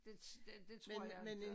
Det det det tror jeg inte